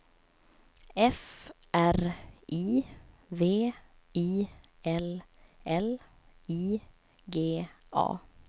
F R I V I L L I G A